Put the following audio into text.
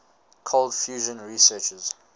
cold fusion researchers